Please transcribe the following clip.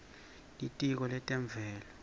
litiko letemvelo